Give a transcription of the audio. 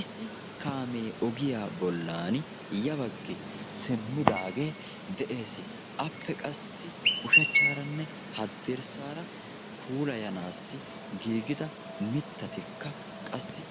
Issi kaamee ogiya bollan ya baggi simmidaagee de'es. Appe qassi ushachcharanne haddirssaara puulayanaassi giigida mittatikka qassi